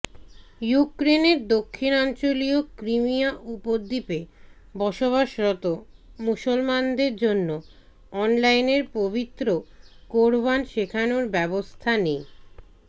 ইউক্রেনের দক্ষিণাঞ্চলীয় ক্রিমিয়া উপদ্বীপে বসবাসরত মুসলমানদের জন্য অনলাইনের পবিত্র কোরআন শেখানোর ব্যবস্থা নে